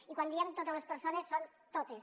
i quan diem totes les persones són totes